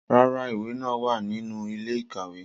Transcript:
Rara, iwe naa wa ninu ile-ikawe